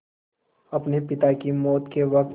अपने पिता की मौत के वक़्त